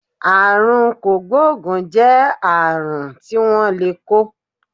Àrùn kògbóògùn jẹ́ àrùn tí wón lè kó